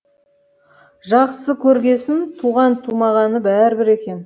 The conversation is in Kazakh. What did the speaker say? жақсы көргесін туған тумағаны бәрібір екен